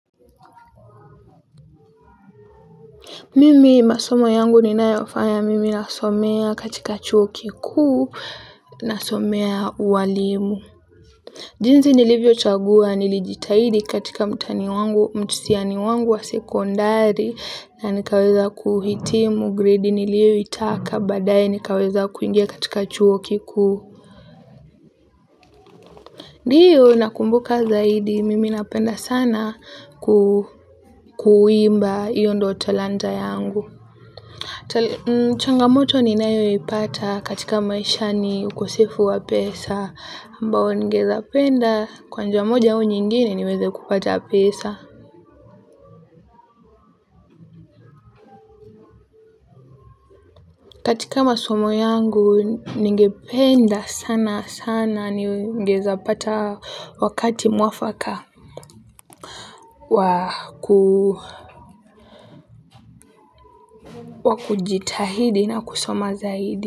Mimi masomo yangu ninayo yafanya mimi nasomea katika chuo kikuu nasomea ualimu. Jinzi nilivyo chagua nilijitahidi katika mtani wangu mtihani wangu wa sekondari na nikaweza kuhitimu grade nilio itaka baadaye nikaweza kuingia katika chuo kikuu. Ndio nakumbuka zaidi mimi napenda sana kuimba hio ndio talanta yangu. Changamoto ninayo ipata katika maisha ni ukosefu wa pesa ambao ningeweza penda kwa njia moja u nyingine niweze kupata pesa. Katika masomo yangu ningependa sana sana ningeweza pata wakati muafaka wa kujitahidi na kusoma zaidi.